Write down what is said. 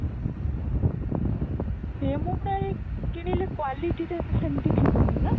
ରେମୁଣା ରୁ କିଣିଲେ quality ଟା ସେମତି ଥିବନି ନା